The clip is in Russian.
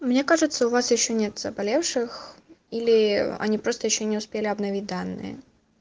мне кажется у вас ещё нет заболевших или они просто ещё не успели обновить данные